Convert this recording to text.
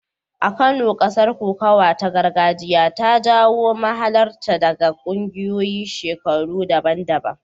A Kano, gasar kokawa ta gargajiya ta jawo mahalarta daga ƙungiyoyin shekaru daban-daban.